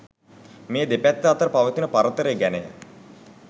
මේ දෙපැත්ත අතර පවතින පරතරය ගැනය.